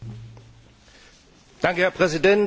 Herr Präsident, liebe Kolleginnen und Kollegen!